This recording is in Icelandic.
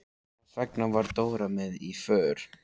Þess vegna var Dóra með í för.